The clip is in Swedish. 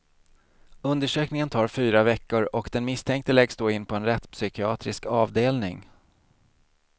Undersökningen tar fyra veckor, och den misstänkte läggs då in på en rättspsykiatrisk avdelning.